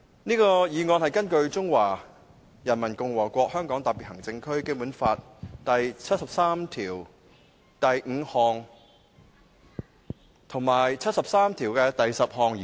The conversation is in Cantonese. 這項議案是根據《中華人民共和國香港特別行政區基本法》第七十三條第五項及第七十三條第十項動議。